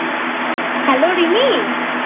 Hello Rimi